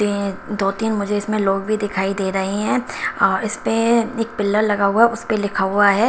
ये दो तीन मुझे इसमें लोग भी दिखाई दे रहे हैं और इस पे एक पिलर लगा हुआ है उस पे लिखा हुआ है।